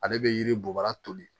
Ale bɛ yiri bɔ bara toli